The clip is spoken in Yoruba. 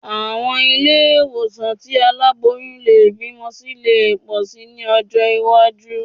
Àwọn ilé ìwòsàn tí àwọn aláboyún lè bímọ sí lè pọ̀ síi ní ọjọ́ iwájú